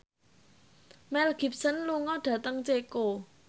Mel Gibson lunga dhateng Ceko